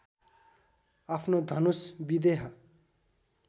आफ्नो धनुष विदेह